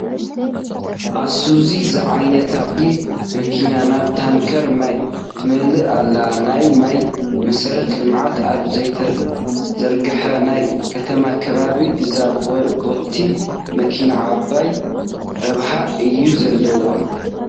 ዓይሱዙ ዝዓይነታ ቦቲ መኪና ናብ ታንከር ማይ ትመልእ ኣላ፡፡ ናይ ማይ መሰረተ ልምዓት ኣብ ዘይተዘርግሓ ናይ ከተማ ከባቢ እዛ ቦቲ መኪና ዓብዪ ረብሓ እዩ ዘለዋ፡፡